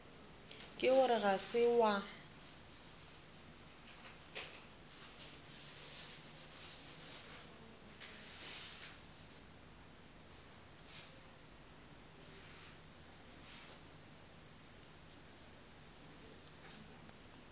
ke gore ga se wa